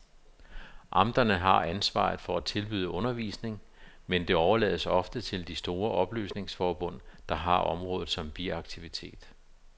Amterne har ansvaret for at tilbyde undervisning, men det overlades ofte til de store oplysningsforbund, der har området som biaktivitet.